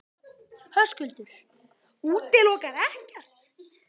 Höskuldur: Útilokar ekkert?